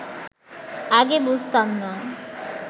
আগে বুঝতাম না